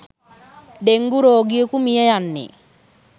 dengue රෝගියකු මියයන්නේ